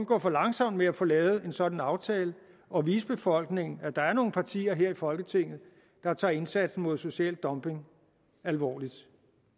gå for langsomt med at få lavet en sådan aftale og at vise befolkningen at der er nogle partier her i folketinget der tager indsatsen mod social dumping alvorligt